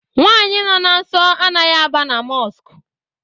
Nwaanyi nọ na nsọ anaghị aba na Mọsk